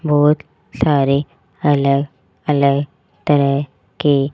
बहोत सारे अलग अलग तरह के--